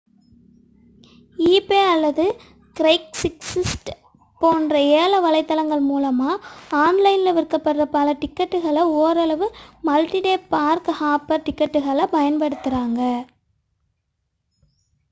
eBay அல்லது Craigslist போன்ற ஏல வலைத்தளங்கள் மூலம் ஆன்லைனில் விற்கப்படும் பல டிக்கெட்டுகள் ஓரளவு மல்டி-டே பார்க்-ஹாப்பர் டிக்கெட்டுகளைப் பயன்படுத்துகின்றன